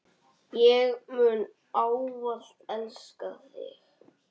Ég mun ávallt elska þig.